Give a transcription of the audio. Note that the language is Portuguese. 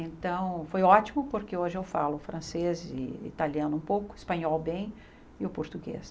Então, foi ótimo, porque hoje eu falo francês e italiano um pouco, espanhol bem e o português.